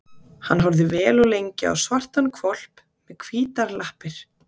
Hann horfði vel og lengi á svartan hvolp með hvítar lappir.